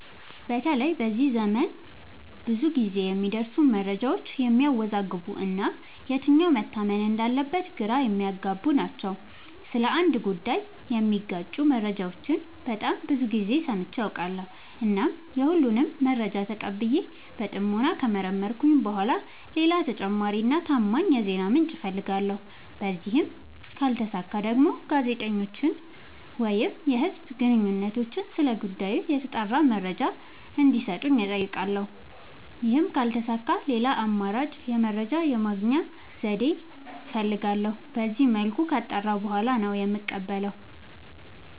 በተለይ በዚህ ዘመን ብዙ ግዜ የሚደርሱን መረጃዎች የሚያዎዛግቡ እና የትኛው መታመን እንዳለበት ግራ የሚያገቡ ናቸው። ስለ አንድ ጉዳይ የሚጋጩ መረጃዎችን በጣም ብዙ ግዜ ሰምቼ አውቃለሁ። እናም የሁሉንም መረጃ ተቀብዬ በጥሞና ከመረመርኩኝ በኋላ ሌላ ተጨማሪ እና ታማኝ የዜና ምንጭ አፈልጋለሁ። በዚህም ካልተሳካ ደግሞ ጋዜጠኞችን ወይም የህዝብ ግንኙነቶችን ስለ ጉዳዩ የተጣራ መረጃ እንዲ ሰጡኝ አጠይቃለሁ። ይህም ካልተሳካ ሌላ አማራጭ የመረጃ የማግኛ ዘዴ እፈልጋለሁ። በዚመልኩ ካጣራሁ በኋላ ነው የምቀበለው።